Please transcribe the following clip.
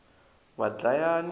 vadlayani